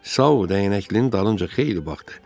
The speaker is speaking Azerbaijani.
Sao dəyənəklinin dalınca xeyli baxdı.